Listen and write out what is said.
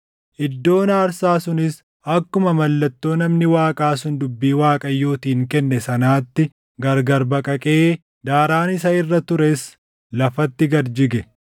Iddoon aarsaa sunis akkuma mallattoo namni Waaqaa sun dubbii Waaqayyootiin kenne sanaatti gargari baqaqee daaraan isa irra tures lafatti gad jige.